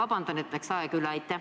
Palun vabandust, et läksin ajast üle!